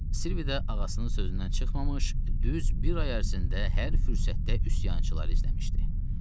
Silvi də ağasının sözündən çıxmamış düz bir ay ərzində hər fürsətdə üsyançılar izləmişdi.